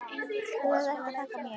Þú þarft ekkert að þakka mér.